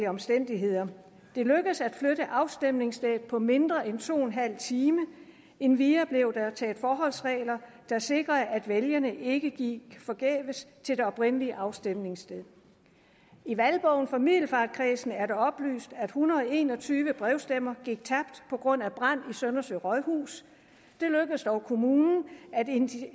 omstændigheder det lykkedes at flytte afstemningsstedet på mindre end to en halv time endvidere blev der taget forholdsregler der sikrede at vælgerne ikke gik forgæves til det oprindelige afstemningssted i valgbogen for middelfartkredsen er det oplyst at en hundrede og en og tyve brevstemmer gik tabt på grund af brand i søndersø rådhus det lykkedes dog kommunen at